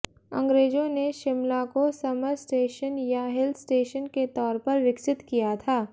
अंग्रेजों ने शिमला को समर स्टेशन या हिल स्टेशन के तौर पर विकसित किया था